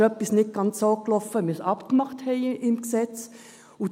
«Da ist etwas nicht so gelaufen, wie wir es im Gesetz abgemacht haben.»